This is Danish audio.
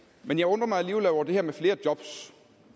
men jeg undrer mig alligevel over det her med flere jobs